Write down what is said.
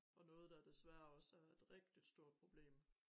Og noget der desværre også er et rigtig stort problem